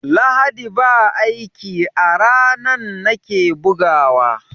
Lahadi ba aiki a ranan nake bugawa